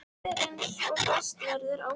Allt er eins og best verður á kosið.